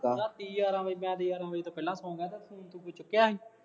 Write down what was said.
ਰਾਤੀ ਗਿਆਰਾਂ ਵਜੇ, ਮੈਂ ਤੇ ਗਿਆਰਾਂ ਵਜੇ ਤੋਂ ਪਹਿਲਾਂ ਸੌ ਗਿਆ ਅਤੇ ਤੂੰ ਫੋਨ ਕਿਤੇ ਚੁੱਕਿਆ ਸੀ